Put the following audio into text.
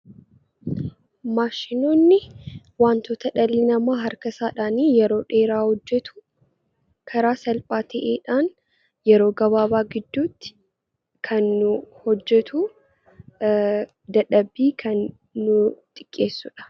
Maashinoonni wantoota dhalli namaa harka isaatiin yeroo dheeraa hojjetu karaa salphaa ta'een yeroo gabaabaa gidduutti kan nuuf hojjetuu fi dadhabbii kan nuuf xiqqeessuudha.